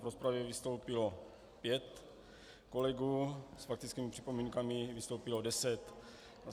V rozpravě vystoupilo pět kolegů, s faktickými připomínkami vystoupilo deset.